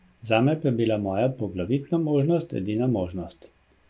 Zame pa je bil moja poglavitna možnost, edina možnost.